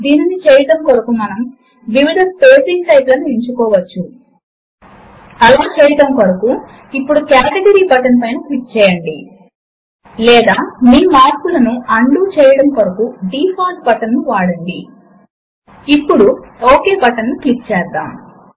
దీని కొరకు ఇప్పుడు ఎలిమెంట్స్ విండో లోని కేటగరీస్ సెక్షన్ లో రిలేషన్స్ అని చెప్పే రెండవ ఐకాన్ పైన క్లిక్ చేయండి